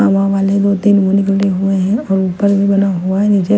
हवावाले दो तीन हुए हैं और ऊपर भी बना हुआ है निचे --